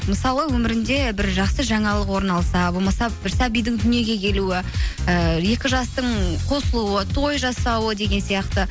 мысалы өмірінде бір жақсы жаңалық орын алса болмаса бір сәбидің дүниеге келуі ііі екі жастың қосылуы той жасауы деген сияқты